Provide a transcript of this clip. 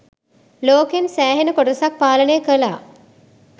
ලෝකෙන් සෑහෙන කොටසක් පාලනය කලා